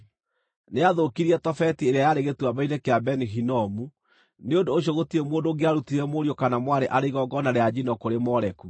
Nĩaathũkirie Tofeti ĩrĩa yarĩ Gĩtuamba-inĩ kĩa Beni-Hinomu, nĩ ũndũ ũcio gũtirĩ mũndũ ũngĩarutire mũriũ kana mwarĩ arĩ igongona rĩa njino kũrĩ Moleku.